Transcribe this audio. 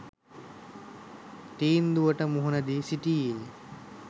තීන්දුවට මුහුණ දී සිටියේය